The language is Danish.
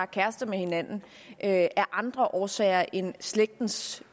kærester med hinanden af andre årsager end slægtens